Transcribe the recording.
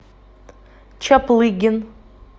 чаплыгин